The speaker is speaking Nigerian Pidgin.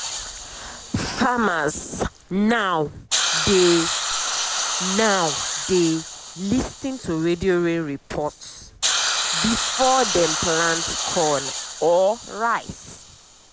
farmers now dey now dey lis ten to radio rain report before dem plant corn or rice.